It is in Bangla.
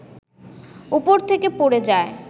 উপর থেকে পড়ে যায়